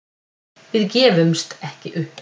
Við gefumst ekki upp